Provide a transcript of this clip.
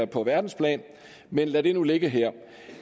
på verdensplan men lad det nu ligge her